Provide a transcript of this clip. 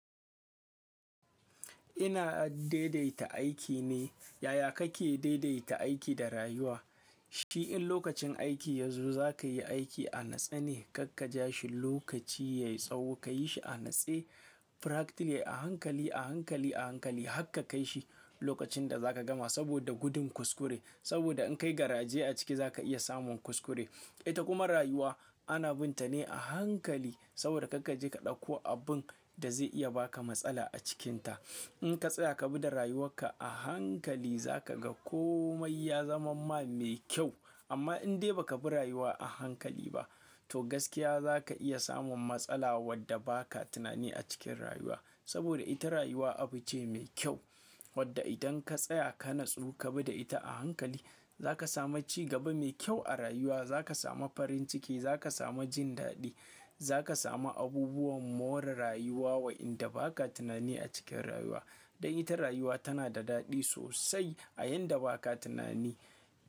Ina dai-daita aiki ne. Yaya kake daidaita aiki da rayuwa? Shi in lokacin aiki yazo zaka yi aiki a natsuwa, kar ka ja shi lokaci yayi tsawo, ka yi shi a natse practically a hankali, a hankali, a hankali, har ka kaishi lokacin da zaka gama saboda gudun kuskure. Saboda in kayi garaje a ciki zaka iya samun kuskure. Ita kuma rayuwa ana bin ta ne a hankali saboda kar ka je ka ɗauko abun da zai iya baka matsala a cikinta. Idan ka tsaya ka bi da rayuwarka a hankali zaka ga komai ya zaman ma mai kyau. Amma indan dai baka bi rayuwa a hankali ba to gaskiya zaka iya samun matsala wadda ba ka tunani a cikin rayuwa. Saboda ita rayuwa abu ce mai kyau wadda idan ka tsaya ka natsu ka bi da ita a hankali zaka samu ci gaba mai kyau a rayuwa, zaka samu farin ciki, zaka samu jin daɗi, zaka samu abubuwan more rayuwa waɗanda baka tunani a cikin rayuwa. Don ita rayuwa tana da daɗi sosai a yanda baka tunani.